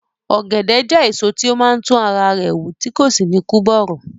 Ọ̀gẹ̀dẹ̀ jẹ́ èso tí ó máa ń tún ara rẹ̀ wù tí kò sì ní kú bọ̀rọ̀